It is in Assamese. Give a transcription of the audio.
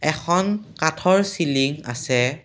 এখন কাঠৰ চিলিং আছে।